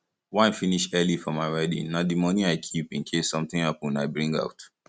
wine finish early for my wedding na the money i keep in case something happen i bring out